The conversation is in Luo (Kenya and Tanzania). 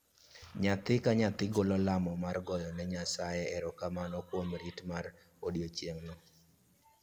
Nyathi ka nyathi golo lamo mar goyo ne Nyasaye erokamano kuom rit mar odiechieng'no